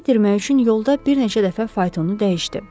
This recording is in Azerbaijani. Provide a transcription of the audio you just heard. İzi itirmək üçün yolda bir neçə dəfə faytonu dəyişdi.